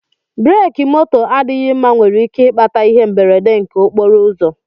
Breki moto adịghị mma nwere ike ikpata ihe mberede nke okporo ụzọ